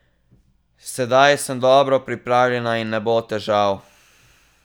Sedaj sem dobro pripravljena in ne bo težav.